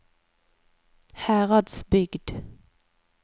Heradsbygd